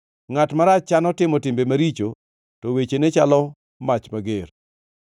Ngʼat marach chano timo timbe maricho, to wechene chalo mach mager.